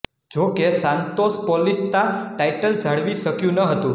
જોકે Santos Paulista title જાળવી શક્યું ન હતું